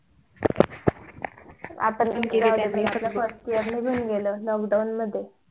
आपण first year ला घेऊन गेलो lockdown मध्ये